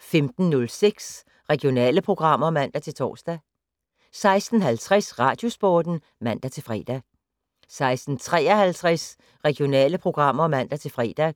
15:06: Regionale programmer (man-tor) 16:50: Radiosporten (man-fre) 16:53: Regionale programmer (man-fre)